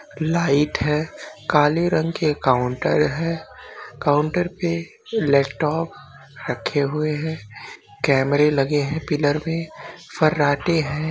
Light है कलि रंग की एक काउंटर है काउंटर पे लैपटॉप रखे हुए है कैमरे लगे है पिलर में फरते है।